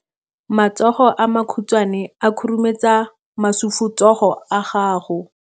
matsogo a makhutshwane a khurumetsa masufutsogo a gago